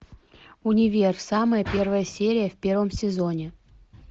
универ самая первая серия в первом сезоне